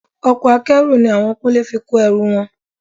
Ọkọ̀ Akẹ́rù ni àwọn Kúnlé fi kó ẹrù wọn